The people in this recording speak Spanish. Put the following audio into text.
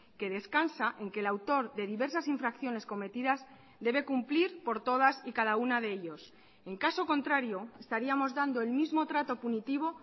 que descansa en que el autor de diversas infracciones cometidas debe cumplir por todas y cada una de ellos en caso contrario estaríamos dando el mismo trato punitivo